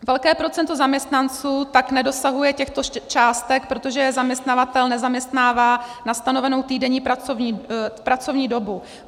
Velké procento zaměstnanců tak nedosahuje těchto částek, protože je zaměstnavatel nezaměstnává na stanovenou týdenní pracovní dobu.